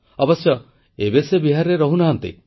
ଅବଶ୍ୟ ଏବେ ସେ ବିହାରରେ ରହୁନାହାନ୍ତି